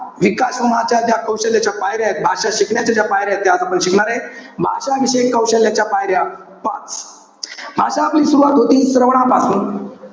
विकासनाच्या, कौशल्याच्या ज्या पायऱ्या आहेत. भाषा शिकण्याच्या ज्या पायऱ्या आहेत. ते आज आपण शिकणारे. भाषाविषयक कौशल्याच्या पायऱ्या पाच. भाषा आपली सुरवात होती, श्रवणापासून.